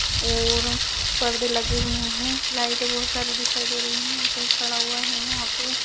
ओंर परदे लगे हुए हैं। लाईटे बहुत सारी दिखाई दे रही हैं। कोई खड़ा हुआ हैं यहां पे।